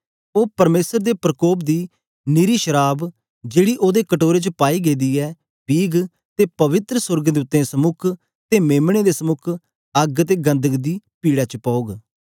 ओ परमेसर दे प्रकोप दी निरी शराव जेड़ी ओदे कटोरे च पाई गेदी ऐ पीग ते पवित्र सोर्गदूतें समुक ते मेम्ने दे समुक अग्ग ते गन्धक दी पीड़े च पौग